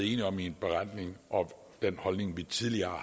enige om i beretningen og den holdning vi tidligere